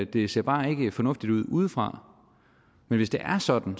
det ser bare ikke fornuftigt ud udefra men hvis det er sådan